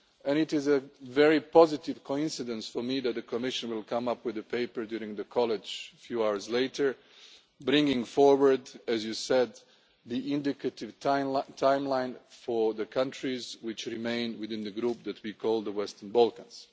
It is a very positive coincidence for me that the Commission will come up with a paper during the college a few hours later, bringing forward, as you said, the indicative timeline for the countries that remain within the group that we called the Western Balkans.